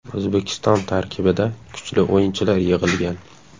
O‘zbekiston tarkibida kuchli o‘yinchilar yig‘ilgan.